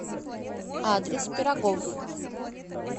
адрес пироговъ